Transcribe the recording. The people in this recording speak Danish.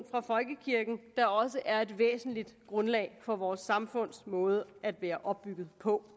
fra folkekirken der også er et væsentligt grundlag for vores samfunds måde at være opbygget på